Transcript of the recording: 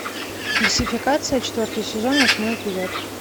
фальсификация четвертый сезон восьмой эпизод